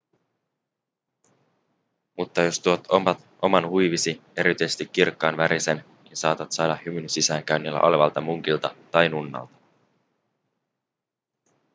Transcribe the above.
mutta jos tuot oman huivisi erityisesti kirkkaanvärisen niin saatat saada hymyn sisäänkäynnillä olevalta munkilta tai nunnalta